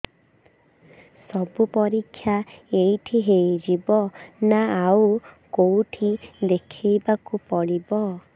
ସବୁ ପରୀକ୍ଷା ଏଇଠି ହେଇଯିବ ନା ଆଉ କଉଠି ଦେଖେଇ ବାକୁ ପଡ଼ିବ